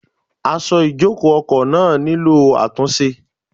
Aṣọ ìjòkó ọkọ̀ náà àtúnṣe.